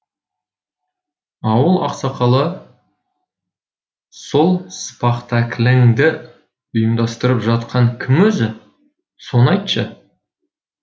ауыл ақсақалы сол спахтакліңді ұйымдастырып жатқан кім өзі соны айтшы